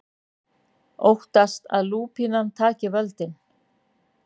Óttast að lúpínan taki völdin